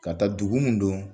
Ka taa dugu mun don